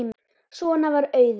Svona var Auður.